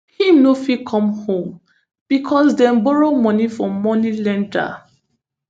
im no fit come home becos dem borrow money from money lender